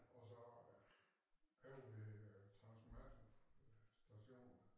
Og så øh lavede de øh transformator station